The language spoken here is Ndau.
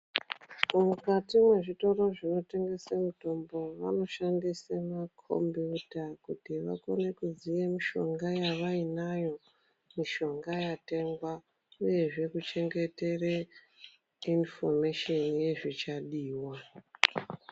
Mukati mwezvitoro zvinotengese mitombo vanoshandise makombiyuta kuti vakone kuziye mishonga yavainayo mishonga yatengwa uyezve kuchengetere inifomesheni yezvichadiwa.